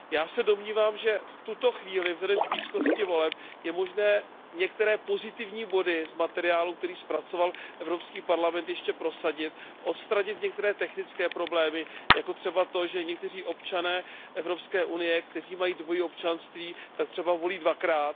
Já se domnívám, že v tuto chvíli a vzhledem k blízkosti voleb je možné některé pozitivní body z materiálu, který zpracoval Evropský parlament, ještě prosadit, odstranit některé technické problémy jako třeba to, že někteří občané Evropské unie, kteří mají dvojí občanství, tak třeba volí dvakrát.